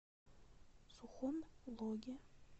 сухом логе